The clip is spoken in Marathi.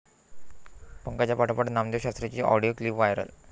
पंकजांपाठोपाठ नामदेवशास्त्रींची ऑडिओ क्लीप व्हायरल